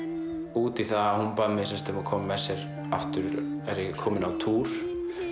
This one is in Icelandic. út í að hún bað mig að koma með sér á túr